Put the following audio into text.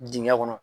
Dingɛ kɔnɔ